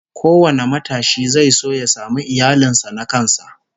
Kowane matashi zai so ya samu iyalin sa na kansa